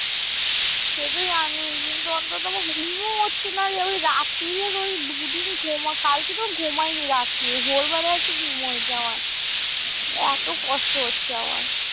সে তো জানি কিন্তু অন্তত আমার ঘুমও হচ্ছে না রে। ওই রাত্তির এর ওই দু দিন ঘুম, কালকে তো ঘুমাইনি রাত্তিরে। ভোর বেলা একটু ঘুম হয়েছে আমার। এতো কষ্ট হচ্ছে আমার।